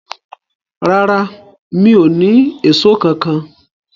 Rárá, mi o ni Èṣó kankan.